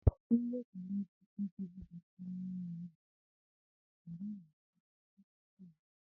Nne Kelechi ekweghị ka a kpọrọ nnwa ya jee ụlọọgwụ maka na ha na-ekpe ụka fééti